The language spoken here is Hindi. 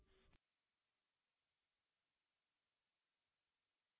इसे snapshot भी कहते हैं